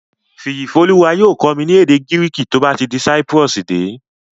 Fìyìfólúwa yóò kọ́ mi ní èdè Gíríìkì tó bá ti Cyprus dé